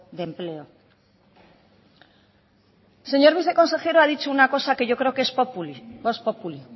de empleo el señor viceconsejero ha dicho una cosa que yo creo que es vox populi